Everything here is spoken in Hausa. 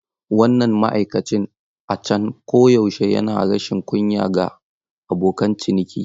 Wannan ma'aikacin a can koyaushe yana rashin kunya ga abokan ciniki.